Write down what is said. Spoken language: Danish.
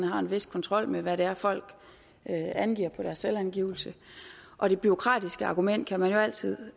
har en vis kontrol med hvad det er folk angiver på deres selvangivelse og det bureaukratiske argument kan man jo altid